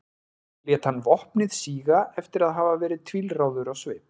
lét hann vopnið síga eftir að hafa verið tvílráður á svip